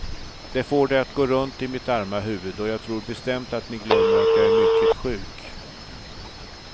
Det får det att gå runt i mitt arma huvud, och jag tror bestämt att ni glömmer att jag är mycket sjuk.